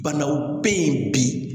Banaw bɛ yen bi